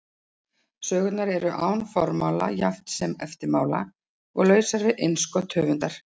Sögurnar eru án formála jafnt sem eftirmála og lausar við innskot höfundar.